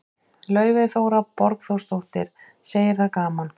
Laufey Þóra Borgþórsdóttir, segir það gaman.